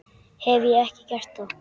Hef ég ekki gert það?